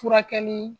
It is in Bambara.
Furakɛli